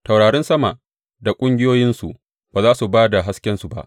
Taurarin sama da ƙungiyoyinsu ba za su ba da haskensu ba.